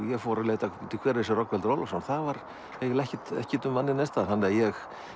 ég fór að leita hver er þessi Rögnvaldur Ólafsson og það var eiginlega ekkert ekkert um manninn neins staðar þannig að ég